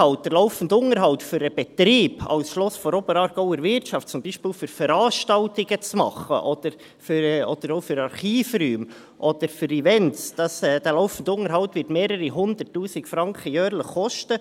Der laufende Unterhalt für den Betrieb als Schloss der Oberaargauer Wirtschaft – zum Beispiel, um Veranstaltungen zu machen, oder auch für Archivräume oder für Events – wird mehrere 100’000 Franken jährlich kosten.